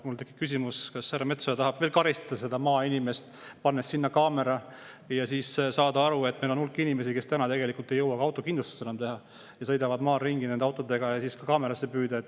Mul tekib küsimus, kas härra Metsoja tahab veel karistada seda maainimest, pannes sinna kaamera, et siis kaamerasse püüda inimesi, keda meil on terve hulk, kes täna tegelikult ei jõua autokindlustust enam teha ja sõidavad maal ringi autodega.